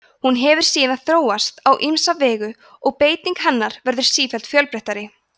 hún hefur síðan þróast á ýmsan veg og beiting hennar verður sífellt fjölbreyttari